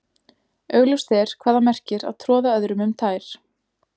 augljóst er hvað það merkir að troða öðrum um tær